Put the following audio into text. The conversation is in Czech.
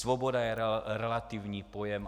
Svoboda je relativní pojem.